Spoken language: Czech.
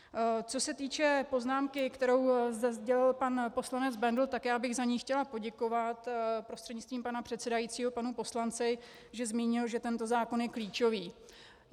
Co se týče poznámky, kterou zde sdělil pan poslanec Bendl, tak já bych za ni chtěla poděkovat prostřednictvím pana předsedajícího panu poslanci, že zmínil, že tento zákon je klíčový.